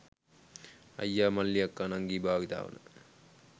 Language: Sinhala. අයියාමල්ලී අක්කා නංගී භාවිතාවන